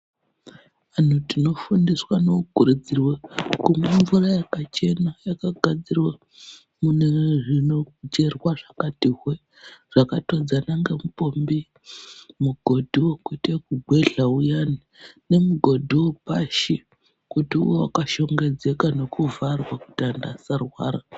Antu tinofundiswa nekukurudzirwe kumwe mvura yakachena, yakagadzirwa mune zvinocherwa zvakati hwe-e. Zvakatodzana ngemupombi, mugodhi wekuite ekugwehla uyani, nemugodhi wepashi kuti uve wakashongedzeka nekuvharwa kuti antu asarwara.